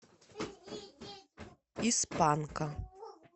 из панка